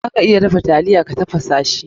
Za ka iya dafa taliya ta tafasa shi.